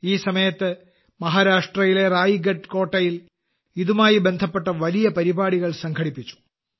ഈ സമയത്ത് മഹാരാഷ്ട്രയിലെ റായ്ഗഡ് കോട്ടയിൽ ഇതുമായി ബന്ധപ്പെട്ട വലിയ പരിപാടികൾ സംഘടിപ്പിച്ചു